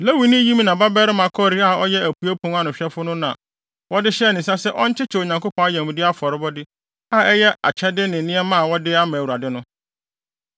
Lewini Yimna babarima Kore a ɔyɛ Apuei Pon ano hwɛfo no na wɔde hyɛɛ ne nsa sɛ ɔnkyekyɛ Onyankopɔn ayamye afɔrebɔde a ɛyɛ akyɛde ne nneɛma a wɔde ama Awurade no.